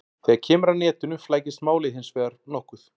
Þegar kemur að netinu flækist málið hins vegar nokkuð.